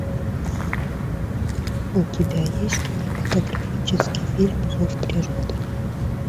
у тебя есть кинематографический фильм зов природы